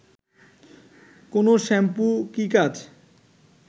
কোন শ্যাম্পু কি কাজ